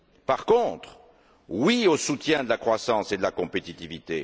Par contre, oui au soutien de la croissance et de la compétitivité!